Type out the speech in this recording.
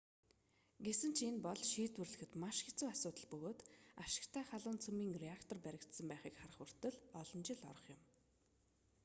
гэсэн ч энэ бол шийдвэрлэхэд маш хэцүү асуудал бөгөөд ашигтай халуун цөмийн реактор баригдсан байхыг харах хүртэл олон жил орох болно